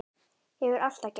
Hefur alltaf gert.